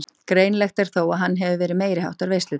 Greinilegt er þó að hann hefur verið meiriháttar veisludagur.